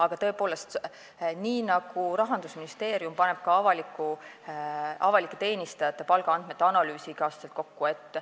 Aga tõepoolest, Rahandusministeerium paneb avalike teenistujate palgaandmete analüüsi iga aasta kokku.